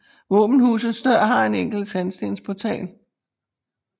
Våbenhusets dør har en enkel sandstensportal